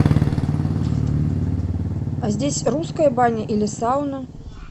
а здесь русская баня или сауна